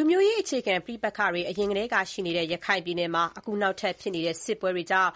ူမျိုးရေးအခြေခံ ပဋိပက္ခတွေအရင်ကတည်းကရှိနေတဲ့ ရခိုင်ပြည်နယ်မှာ အခုနောက်ထပ်ဖြစ်နေတဲ့ စစ်ပွဲတွေကြောင့်